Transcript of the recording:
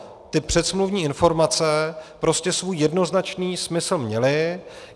Ty předsmluvní informace prostě svůj jednoznačný smysl měly.